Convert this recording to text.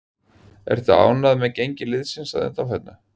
Ertu ánægður með gengi liðsins að undanförnu?